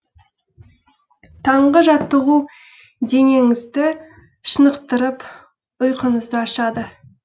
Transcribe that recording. таңғы жаттығу денеңізді шынықтырып ұйқыңызды ашады